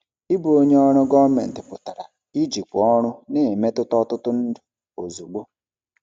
Ịbụ onye ọrụ gọọmentị pụtara ijikwa ọrụ na-emetụta ọtụtụ ndụ ozugbo.